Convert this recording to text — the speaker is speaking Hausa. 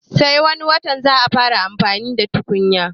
Sai wani watan za a fara amfani da tukunyar